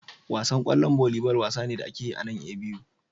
Wasan kwallon volleyball wasa ne da ake yi a nan A.B.U